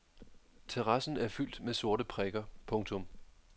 Terrassen er fyldt med sorte prikker. punktum